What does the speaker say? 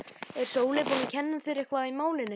Er Sóley búin að kenna þér eitthvað í málinu?